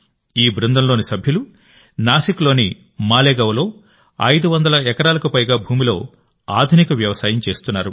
ఈ బృందంలోని సభ్యులు నాసిక్లోని మాలేగావ్లో 500 ఎకరాలకు పైగా భూమిలో ఆగ్రో ఫార్మింగ్ చేస్తున్నారు